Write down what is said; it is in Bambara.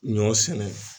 Ɲɔ sɛnɛ